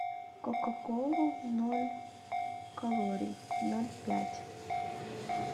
кока колу ноль калорий ноль пять